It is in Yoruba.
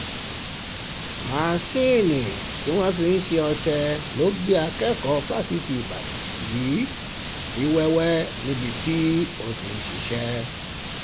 masinni tí wọ́n fi ń um ṣe ọṣẹ ló gé akẹ́kọ̀ọ́ fásitì ìbàdàn yìí sí wẹ́wẹ́ níbi um tó ti ń ṣiṣẹ́